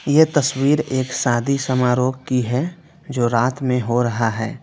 यह तस्वीर एक शादी समारोह की है जो रात में हो रहा है।